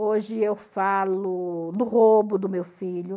Hoje eu falo do roubo do meu filho.